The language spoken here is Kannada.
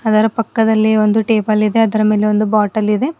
ಅದರ ಪಕ್ಕದಲ್ಲಿ ಒಂದು ಟೇಬಲ್ ಇದೆ ಅದರ ಮೇಲೆ ಒಂದು ಬಾಟಲ್ ಇದೆ.